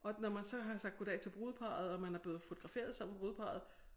Og når man så har sagt goddag til brudeparret og man er blevet fotograferet sammen med brudeparret